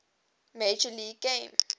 major league game